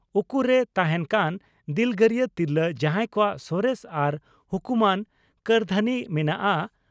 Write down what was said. ᱩᱠᱩᱨᱮ ᱛᱟᱦᱮᱸᱱ ᱠᱟᱱ ᱫᱤᱞᱜᱟᱹᱨᱤᱭᱟᱹ ᱛᱤᱨᱞᱟᱹ ᱡᱟᱦᱟᱸᱭ ᱠᱚᱣᱟᱜ ᱥᱚᱨᱮᱥ ᱟᱨ ᱦᱩᱠᱩᱢᱟᱱ ᱠᱟᱹᱨᱫᱷᱟᱹᱱᱤ ᱢᱮᱱᱟᱜᱼᱟ